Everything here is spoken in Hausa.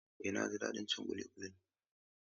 Eh, na ji daɗin cin ƙuli ƙulin.